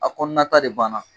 A kɔnɔna ta de banna.